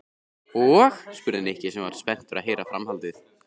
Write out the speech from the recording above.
Og? spurði Nikki sem var spenntur að heyra framhaldið.